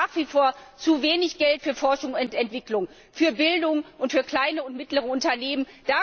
Es gibt nach wie vor zu wenig Geld für Forschung und Entwicklung, für Bildung und für kleine und mittlere Unternehmen.